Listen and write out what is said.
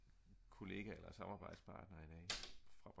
en kollega eller samarbejdspartner i dag fra